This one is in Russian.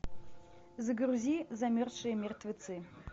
загрузи замерзшие мертвецы